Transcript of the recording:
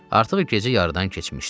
Artıq gecə yarıdan keçmişdi.